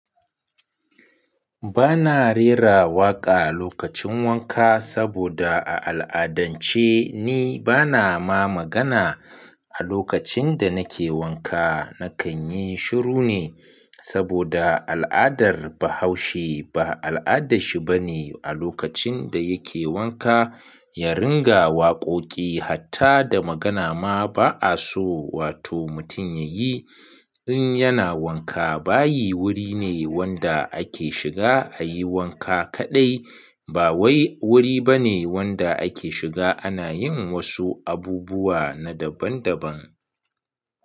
Bana rera waƙa lokacin wanka saboda a al'adance ni bana ma magana. A lokacin da nake wanka, na kan yi shiru ne saboda al'adar Bahaushe ba al'adashi bane a lokacin da yake wanka ya ringa waƙoƙi hatta da magana ma ba'a so wato mutum ya yi in yana wanka. Bayi wuri ne wanda ake shiga a yi wanka kaɗai, ba wai wuri bane wanda ake shiga ana yin wasu abubuwa na daban-daban.